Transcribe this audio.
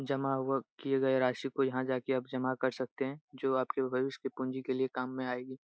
जमा हुआ किये गए राशि को यहाँ जाके आप जमा कर सकते है जो आप के भविष्य के पूंजी के लिए काम में आएगी।